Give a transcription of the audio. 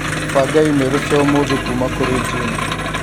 banga i-mīrū cia ũmũthĩ kuuma kũrĩ Jim